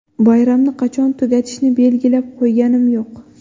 Bayramni qachon tugatishni belgilab qo‘yganim yo‘q.